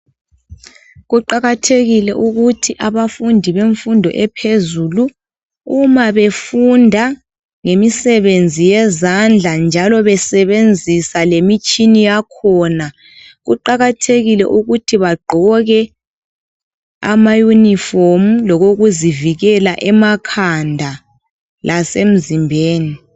Kuqakathekile ukuthi abafundi bemfundo ephezulu uma befunda ngemisebenzi yezandla njalo besebenzisa lemitshina yakhona kuqakathekile ukuthi bagqoke amayunifomu lokokuzivikela emakhanda lasemzimbeni.